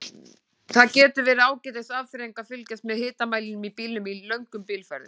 Það getur verið ágætis afþreying að fylgjast með hitamælinum í bílnum í löngum bílferðum.